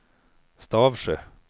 Stavsjö